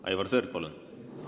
Aivar Sõerd, palun!